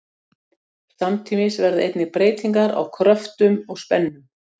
Samtímis verða einnig breytingar á kröftum og spennum.